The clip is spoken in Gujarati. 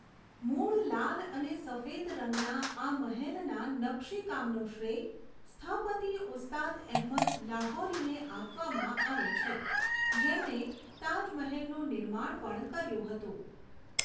મૂળ લાલ અને સફેદ રંગના આ મહેલના નકશીકામનો શ્રેય સ્થપતિ ઉસ્તાદ અહેમદ લાહોરીને આપવામાં આવે છે, જેમણે તાજમહેલનું નિર્માણ પણ કર્યું હતું.